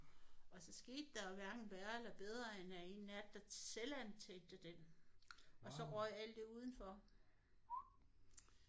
Og så skete der jo hverken værre eller bedre end at en nat der selvantændte den og så røg alt det udenfor